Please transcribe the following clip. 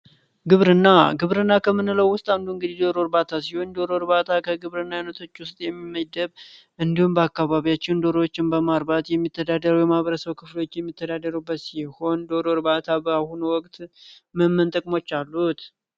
ግብርና ግብርና ከምንለው ውስጥ አንዱ የደሮ እርባታ ሲሆን የዶሮ እርባታ ከግብርና አይነቶች ውስጥ የሚመደብ ሲሆን እንዲሁም በአካባቢያችን ዶሮዎችን በማርባት የሚተዳደሩበት ሲሆን ዶሮ እርባታ በአሁኑ ወቅት ምን ምን ጥቅሞች አሉት?